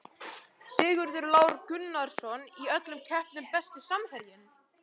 Sigurður Lár Gunnarsson í öllum keppnum Besti samherjinn?